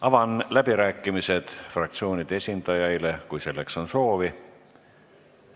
Avan läbirääkimised fraktsioonide esindajaile, kui selleks on soovi.